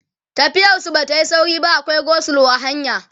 tafiyar su Bata Yi sauri ba akwai go slow a hanya